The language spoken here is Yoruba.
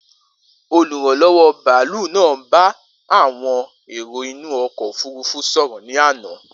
Oluranlọwọ baalu naa n ba awọn ero inu ọkọ ofurufu sọrọ ni ana.